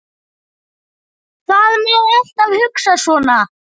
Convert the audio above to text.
Það má alltaf hugsa svona.